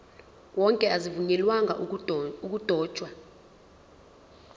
wonke azivunyelwanga ukudotshwa